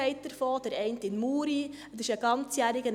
der eine in Muri, das ist ein ganzjähriger;